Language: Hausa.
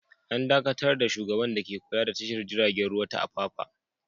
An dakatar da shugaban dake kula da tashar jiragen ruwa ta Apapa.